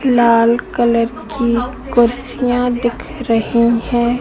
लाल colour की कुर्सियां दिख रही है।